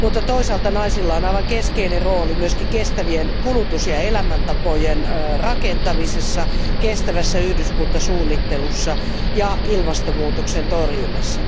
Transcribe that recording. Toisaalta naisilla on aivan keskeinen rooli myös kestävien kulutus ja elämäntapojen rakentamisessa, kestävässä yhdyskuntasuunnittelussa ja ilmastonmuutoksen torjunnassa.